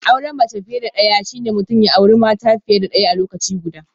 Auren mace fiye da daya shine mutum ya auri mata fiye da daya a lokaci guda